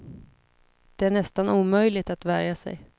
Det är nästan omöjligt att värja sig.